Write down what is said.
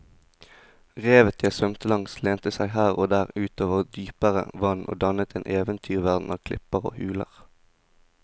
Revet jeg svømte langs lente seg her og der ut over dypere vann og dannet en eventyrverden av klipper og huler.